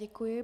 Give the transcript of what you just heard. Děkuji.